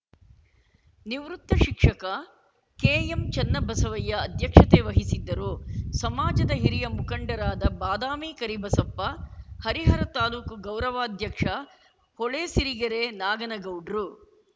ನಿವೃತ್ತ ಶಿಕ್ಷಕ ಕೆಎಂಚನ್ನಬಸಯ್ಯ ಅಧ್ಯಕ್ಷತೆ ವಹಿಸಿದ್ದರು ಸಮಾಜದ ಹಿರಿಯ ಮುಖಂಡರಾದ ಬಾದಾಮಿ ಕರಿಬಸಪ್ಪ ಹರಿಹರ ತಾಲೂಕು ಗೌರವಾಧ್ಯಕ್ಷ ಹೊಳೆ ಸಿರಿಗೆರೆ ನಾಗನಗೌಡ್ರು